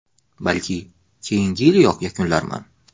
Balki, keyingi yiliyoq yakunlarman.